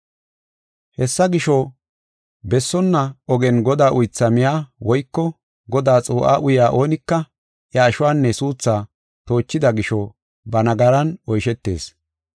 Hessa gisho, bessonna ogen Godaa uytha miya woyko Godaa xuu7a uya oonika iya ashuwanne suutha toochida gisho ba nagaran oyshetees.